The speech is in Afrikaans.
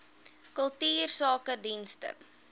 kultuursakedienste